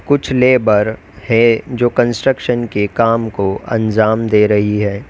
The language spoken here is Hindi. कुछ लेबर हैं जो कंस्ट्रक्शन के काम को अंजाम दे रही है।